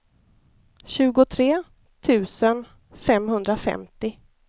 tjugotre tusen femhundrafemtio